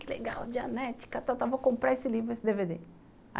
Que legal, dianética, vou comprar esse livro e esse dê vê dê.